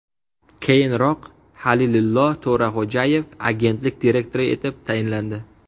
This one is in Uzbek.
Keyinroq Halilillo To‘raxo‘jayev agentlik direktori etib tayinlandi .